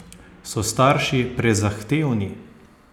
So starši prezahtevni?